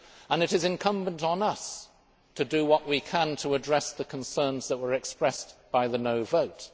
And it is incumbent on us to do what we can to address the concerns that were expressed by the no' vote.